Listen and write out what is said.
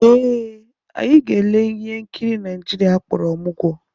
Ee, anyị ga-ele ihe nkiri Naijiria akpọrọ Ọmụgwọ